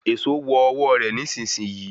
Èsó wọ ọwọ rẹ nísìsiyìí